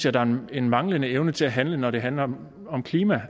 at der er en manglende evne til at handle når det handler om klima